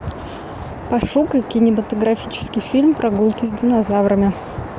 пошукай кинематографический фильм прогулки с динозаврами